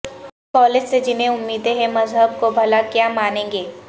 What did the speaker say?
college سے جنہیں امیدیں ہیں مذہب کو بھلا کیا مانیں گے